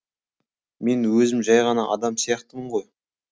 мен өзім жай ғана адам сияқтымын ғой